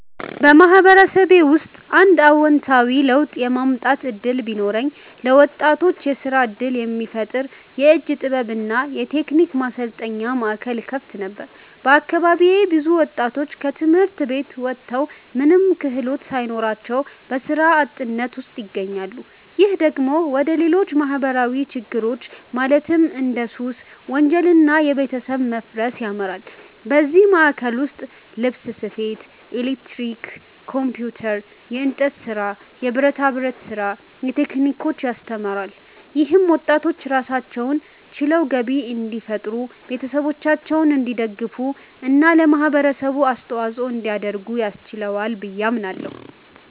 በማህበረሰቤ ውስጥ አንድ አዎንታዊ ለውጥ የማምጣት እድል ቢኖረኝ፣ ለወጣቶች የስራ እድል የሚፈጥር የእጅ ጥበብ እና የቴክኒክ ማሰልጠኛ ማዕከል እከፍት ነበር። በአካባቢዬ ብዙ ወጣቶች ከትምህርት ቤት ወጥተው ምንም ክህሎት ሳይኖራቸው በስራ አጥነት ውስጥ ይገኛሉ። ይህ ደግሞ ወደ ሌሎች ማህበራዊ ችግሮች ማለትም እንደ ሱስ፣ ወንጀል እና የቤተሰብ መፋረስ ያመራል። በዚህ ማዕከል ውስጥ ልብስ ስፌት፣ ኤሌክትሪክ፣ ኮምፒውተር፣ የእንጨት ስራ፣ የብረታ ብረት ስራ ቴክኒኮችን ያስተምራል። ይህም ወጣቶች ራሳቸውን ችለው ገቢ እንዲፈጥሩ፣ ቤተሰቦቻቸውን እንዲደግፉ እና ለማህበረሰቡ አስተዋጽኦ እንዲያደርጉ ያስችላቸዋል ብዬ አምናለሁ።